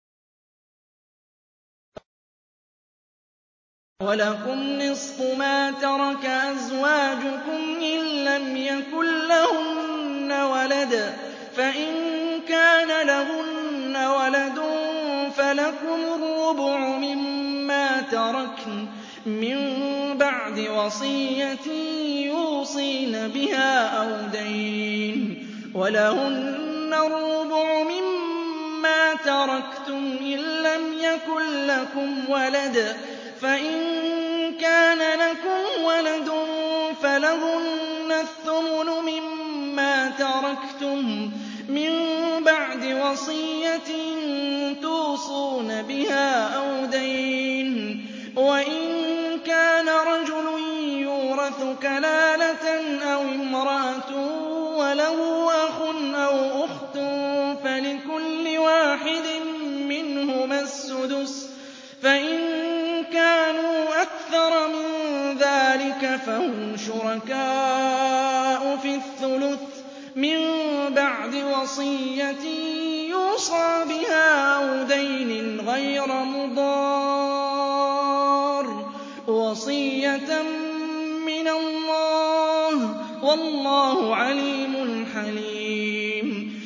۞ وَلَكُمْ نِصْفُ مَا تَرَكَ أَزْوَاجُكُمْ إِن لَّمْ يَكُن لَّهُنَّ وَلَدٌ ۚ فَإِن كَانَ لَهُنَّ وَلَدٌ فَلَكُمُ الرُّبُعُ مِمَّا تَرَكْنَ ۚ مِن بَعْدِ وَصِيَّةٍ يُوصِينَ بِهَا أَوْ دَيْنٍ ۚ وَلَهُنَّ الرُّبُعُ مِمَّا تَرَكْتُمْ إِن لَّمْ يَكُن لَّكُمْ وَلَدٌ ۚ فَإِن كَانَ لَكُمْ وَلَدٌ فَلَهُنَّ الثُّمُنُ مِمَّا تَرَكْتُم ۚ مِّن بَعْدِ وَصِيَّةٍ تُوصُونَ بِهَا أَوْ دَيْنٍ ۗ وَإِن كَانَ رَجُلٌ يُورَثُ كَلَالَةً أَوِ امْرَأَةٌ وَلَهُ أَخٌ أَوْ أُخْتٌ فَلِكُلِّ وَاحِدٍ مِّنْهُمَا السُّدُسُ ۚ فَإِن كَانُوا أَكْثَرَ مِن ذَٰلِكَ فَهُمْ شُرَكَاءُ فِي الثُّلُثِ ۚ مِن بَعْدِ وَصِيَّةٍ يُوصَىٰ بِهَا أَوْ دَيْنٍ غَيْرَ مُضَارٍّ ۚ وَصِيَّةً مِّنَ اللَّهِ ۗ وَاللَّهُ عَلِيمٌ حَلِيمٌ